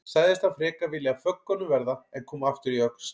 Sagðist hann frekar vilja af föggunum verða en koma aftur í Öxl.